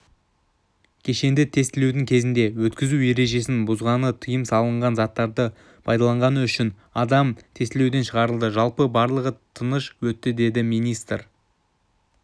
кешенді тестілеу кезінде өткізу ережесін бұзғаны тыйым салынған заттарды пайдаланғаны үшін адам тестілеуден шығарылды жалпы барлығы тиыш өтті деді министр